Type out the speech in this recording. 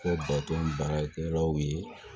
Kɛ bato baarakɛlaw ye